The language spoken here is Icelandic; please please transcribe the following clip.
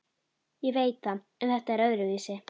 Ég veit það en þetta var öðruvísi.